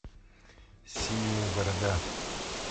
синяя борода